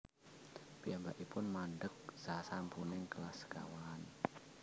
Piyambakipun mandheg sasampuning kelas sekawan